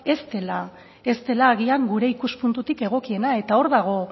ez dela agian gure ikuspuntutik egokiena eta hor dago